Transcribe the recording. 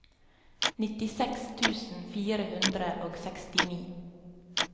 nittiseks tusen fire hundre og sekstini